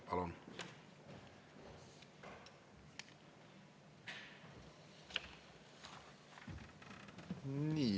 Palun!